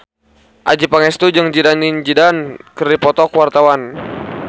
Adjie Pangestu jeung Zidane Zidane keur dipoto ku wartawan